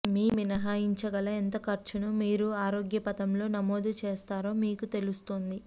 మీ మినహాయించగల ఎంత ఖర్చును మీరు ఆరోగ్య పథంలో నమోదు చేస్తారో మీకు తెలుస్తుంది